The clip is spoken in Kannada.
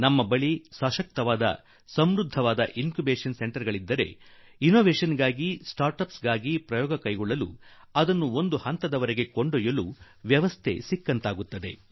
ನಮ್ಮ ಬಳಿ ಸಶಕ್ತ ಮತ್ತು ಸಮೃದ್ಧ ಬೆಳವಣಿಗೆ ಕೇಂದ್ರ ಅಂದರೆ ಇನ್ ಕ್ಯೂಬೇಷನ್ ಸೆಂಟರ್ ಇದ್ದರೆ ಅದರಿಂದ ಅನ್ವೇಷಣೆಗೆ Sಣಚಿಡಿಣ Uಠಿ ಗಳಿಗೆ ಪ್ರಯೋಗ ನಡೆಸಲು ಅವನ್ನು ಒಂದು ಮಟ್ಟಕ್ಕೆ ತರಲು ಒಂದು ವ್ಯವಸ್ಥೆ ದೊರಕಿದಂತಾಗುತ್ತದೆ